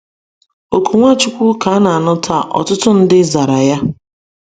Oku Nwachukwu ka na-anụ taa, ọtụtụ ndị zara ya.